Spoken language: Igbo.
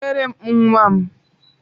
Kutere m nwam!